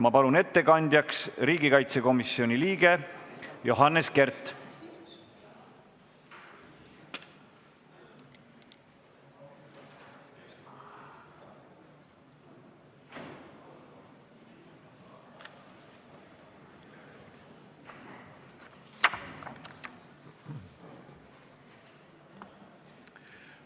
Ma palun ettekandjaks riigikaitsekomisjoni liikme Johannes Kerdi!